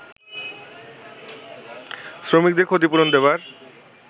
শ্রমিকদের ক্ষতিপূরণ দেবার